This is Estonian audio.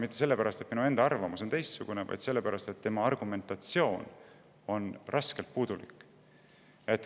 Mitte sellepärast, et minu enda arvamus on teistsugune, vaid sellepärast, et tema argumentatsioon on raskelt puudulik.